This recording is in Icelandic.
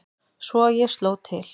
Svo ég sló til.